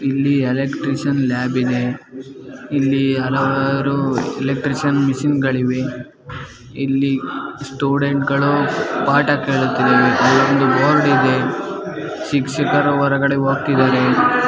ಇಲ್ಲಿ electrician lab ಇದೆ ಇಲ್ಲಿ ಹಲವಾರು ಎಲಕ್ಟ್ರೀಷಿಯನ್ ಮೆಷಿನ್ ಗಳಿವೆ ಇಲ್ಲಿ ಸ್ಟೂಡೆಂಟ್ಸ್ ಗಳು ಪಾಠ ಕೇಳುತ್ತಿದ್ದಾರೆ ಅಲ್ಲೊಂದು ಬೋರ್ಡ್ ಇದೆ ಶಿಕ್ಷಕರು ಹೊರಗಡೆ ಹೋಗ್ತಿದ್ದಾರೆ.